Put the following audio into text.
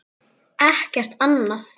Ekkert annað?